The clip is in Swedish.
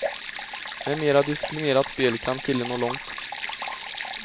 Med mera disciplinerat spel kan killen nå långt.